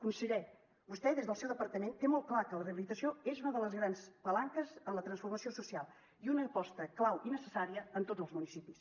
conseller vostè des del seu departament té molt clar que la rehabilitació és una de les grans palanques en la transformació social i una aposta clau i necessària en tots els municipis